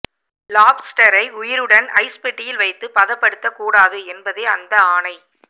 லாப்ஸ்டரை உயிருடன் ஐஸ் பெட்டியில் வைத்து பதபடுத்த கூடாது என்பதே அந்த ஆணை